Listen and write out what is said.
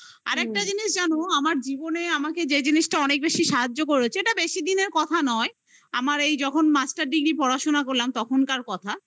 আরেকটা জিনিস জানো আমার জীবনে আমাকে যে জিনিসটা অনেক বেশি সাহায্য করেছে এটা বেশি দিনেরnকথা নয় আমার এই যখন master degree পড়াশোনা করলাম তখনকার কথা